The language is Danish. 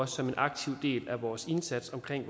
som en aktiv del af vores indsats omkring